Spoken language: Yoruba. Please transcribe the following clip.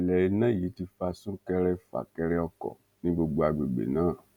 ìṣẹlẹ iná yìí ti fa súnkẹrẹfàkẹrẹ ọkọ ní gbogbo agbègbè náà